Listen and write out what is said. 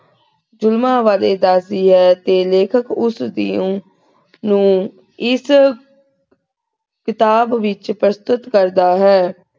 ਜੁਲਮਾਂ ਬਾਰੇ ਦਸਦੀ ਹੈ ਤੇ ਲੇਖਕ ਉਸਦੀ ਨੂੰ ਨੂੰ ਇਸ ਕਿਤਾਬ ਵਿਚ ਪ੍ਰਸ੍ਤੁਤ ਕਰਦਾ ਹੈ।